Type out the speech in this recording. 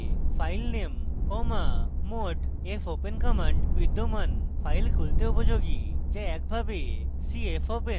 mopen command একটি বিদ্যমান file খুলতে উপযোগী যা একভাবে c fopen পদ্ধতির অনুকুল